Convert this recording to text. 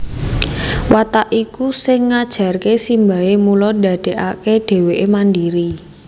Watak iku sing ngajarké simbahé mula ndadékaké dhéwéké mandiri